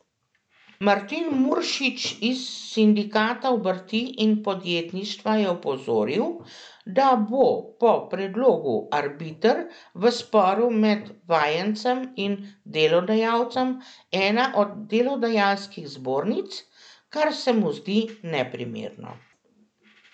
Martin Muršič iz sindikata obrti in podjetništva je opozoril, da bo po predlogu arbiter v sporu med vajencem in delodajalcem ena od delodajalskih zbornic, kar se mu zdi neprimerno.